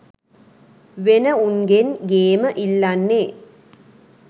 වෙන උන්ගෙන් ගේම ඉල්ලන්නේ